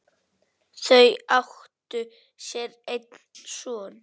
Þau áttu sér einn son.